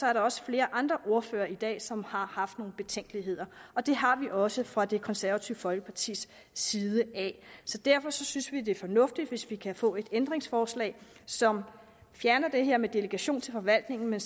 er der også flere andre ordførere i dag som har haft nogle betænkeligheder og det har vi også fra det konservative folkepartis side derfor synes vi at det er fornuftigt hvis vi kan få et ændringsforslag som fjerner det her med delegation til forvaltningen